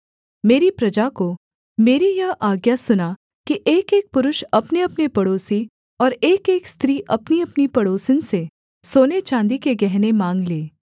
मेरी प्रजा को मेरी यह आज्ञा सुना कि एकएक पुरुष अपनेअपने पड़ोसी और एकएक स्त्री अपनीअपनी पड़ोसिन से सोनेचाँदी के गहने माँग ले